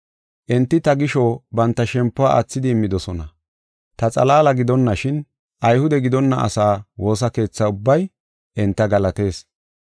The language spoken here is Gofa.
Enti ta gisho banta shempuwa aathidi immidosona. Ta xalaala gidonashin, Ayhude gidonna asaa woosa keetha ubbay enta galatees.